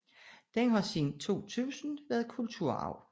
Den har siden 2000 været kulturarv